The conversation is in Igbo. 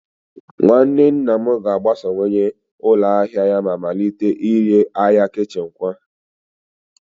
Nwanne nna m ga-agbasawanye ụlọ ahịa ya ma malite ire arịa kichin kwa